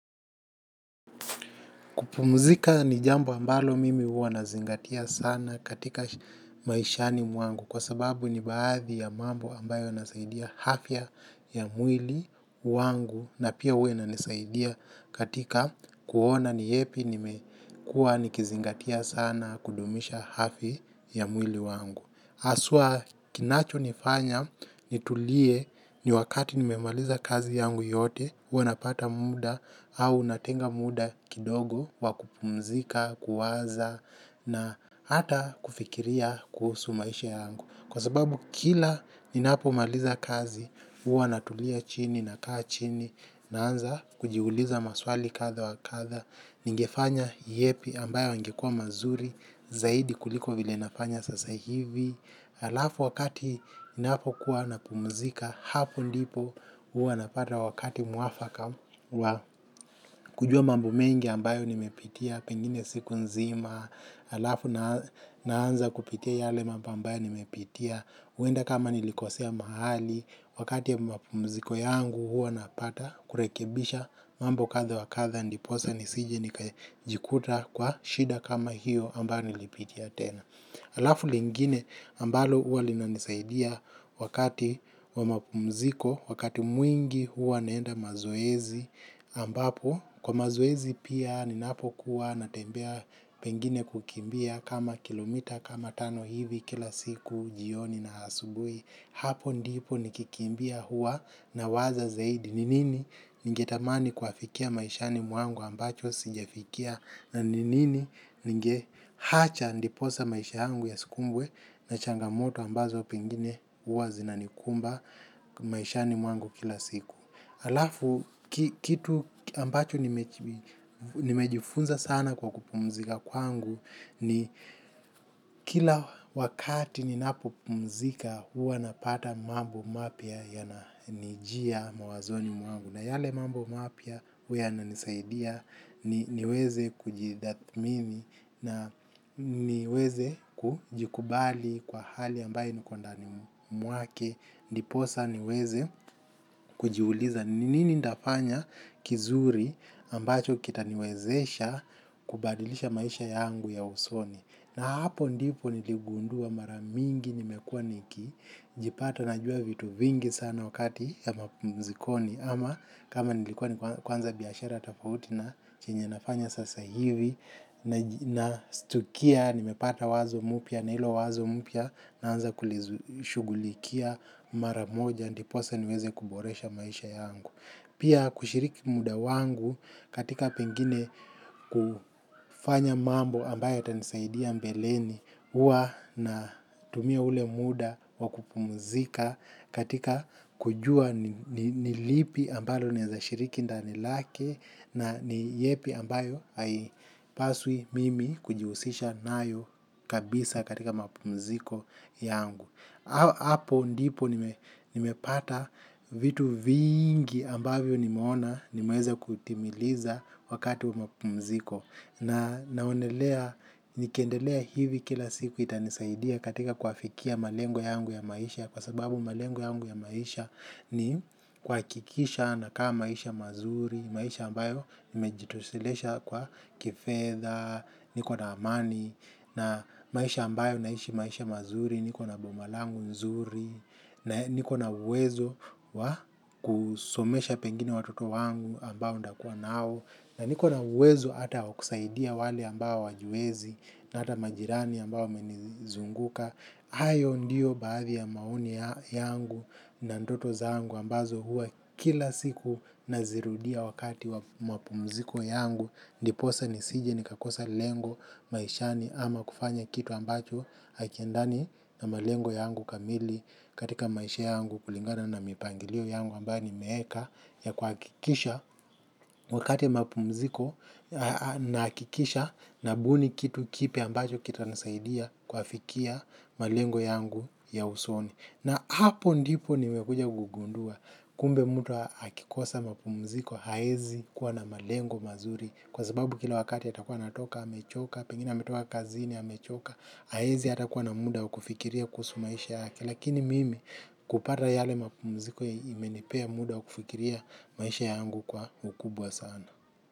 Kupumzika ni jambo ambalo mimi huwa nazingatia sana katika maishani mwangu kwa sababu ni baadhi ya mambo ambayo yanasaidia afya ya mwili wangu na pia huwa inanisaidia katika kuona ni yepi nimekuwa nikizingatia sana kudumisha hafi ya mwili wangu. Aswa kinacho nifanya nitulie ni wakati nimemaliza kazi yangu yote, huwa napata muda au natenga muda kidogo wa kupumzika, kuwaza na hata kufikiria kuhusu maisha yangu. Kwa sababu kila ninapomaliza kazi huwa natulia chini nakaa chini naanza kujiuliza maswali kadha wa kadha. Ningefanya yepi ambayo ingekuwa mazuri zaidi kuliko vile nafanya sasa hivi. Halafu wakati napokuwa napumzika hapo ndipo huwa napata wakati mwafaka wa kujua mambo mengi ambayo nimepitia pengine siku nzima halafu naanza kupitia yale mambo ambayo nimepitia huenda kama nilikosea mahali, wakati ya mapumziko yangu huwa napata kurekebisha mambo kadha wakadha ndiposa nisije nikajikuta kwa shida kama hiyo ambayo nilipitia tena. Halafu lingine ambalo huwa linanisaidia wakati wa mapumziko, wakati mwingi huwa naenda mazoezi ambapo kwa mazoezi pia ninapokuwa natembea pengine kukimbia kama kilomita kama tano hivi kila siku jioni na asubuhi hapo ndipo nikikimbia huwa nawaza zaidi ni nini ningetamani kuafikia maishani mwangu ambacho sijafikia na ni nini ninge hacha ndiposa maishangu yasikumbwe na changamoto ambazo pengine huwa zinanikumba maishani muangu kila siku. Halafu kitu ambacho nimejifunza sana kwa kupumzika kwangu ni kila wakati ninapopumzika huwa napata mambo mapya yananijia mawazoni mwangu. Na yale mambo mapya huwa yananisaidia niweze kujitathmini na niweze kujikubali kwa hali ambayo niko ndani mwake. Ndiposa niweze kujiuliza ni nini nitafanya kizuri ambacho kitaniwezesha kubadilisha maisha yangu ya usoni. Na hapo ndipo niligundua maramingi nimekuwa niki jipata najua vitu vingi sana wakati ya mapumzikoni. Ama kama nilikuwa ni kuanza biashara tofauti na chenye nafanya sasa hivi na stukia nimepata wazo mupya na hilo wazo mupya naanza kulishughulikia maramoja ndiposa niweze kuboresha maisha yangu. Pia kushiriki muda wangu katika pengine ku fanya mambo ambayo yatanisaidia mbeleni huwa na tumia ule muda kwa kupumzika katika kujua ni ni nilipi ambalo naeza shiriki ndani lake na ni yepi ambayo haipaswi mimi kujihusisha nayo kabisa katika mapumziko yangu. Hapo ndipo nimepata vitu vingi ambavyo nimeona, nimeeza kutimiliza wakati wa mapumziko. Na naonelea, nikiendelea hivi kila siku itanisaidia katika kuafikia malengo yangu ya maisha. Kwa sababu malengo yangu ya maisha ni kuhakikisha nakaa maisha mazuri, maisha ambayo nimejitoshelesha kwa kifedha, niko na amani, na maisha ambayo naishi maisha mazuri, niko na bomalangu nzuri, na niko na uwezo wa kusomesha pengine watoto wangu ambao ndakuwa nao, na niko na uwezo hata wa kusaidia wale ambao hawajiwezi, na hata majirani ambao wamenizunguka, hayo ndiyo baadhi ya maoni yangu na ndoto zangu ambazo huwa kila siku nazirudia wakati wa mapumziko yangu ndiposa nisije ni kakosa lengo maishani ama kufanya kitu ambacho hakiendani na malengo yangu kamili. Katika maisha yangu kulingana na mipangilio yangu ambayo nimeeka ya kuhakikisha wakati ya mapumziko nahakikisha nabuni kitu kipya ambacho kitanisaidia kuafikia malengo yangu ya usoni. Na hapo ndipo niwekuja kugundua kumbe mtu akikosa mapumziko haezi kuwa na malengo mazuri kwa sababu kila wakati atakuwa anatoka amechoka, pengine ametoka kazini amechoka haezi hata kuwa na muda wa kufikiria kuhusu maisha yake. Lakini mimi kupata yale mapumuziko imenipea muda wa kufikiria maisha yangu kwa ukubwa sana.